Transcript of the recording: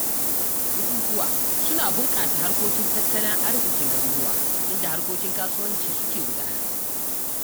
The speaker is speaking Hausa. Bukuwa suna bunƙasa harkokin tattalin arzikin garuruwa, inda harkokin kasuwanci suke gudana.